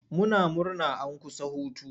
Muna murna an kusa hutu.